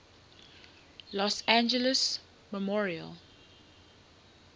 los angeles memorial